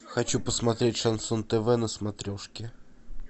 хочу посмотреть шансон тв на смотрешке